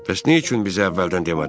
Bəs niyə üçün bizə əvvəldən demədin?